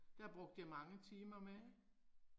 Der brugte jeg mange timer med